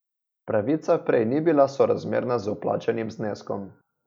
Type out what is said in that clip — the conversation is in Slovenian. Pravica prej ni bila sorazmerna z vplačanim zneskom.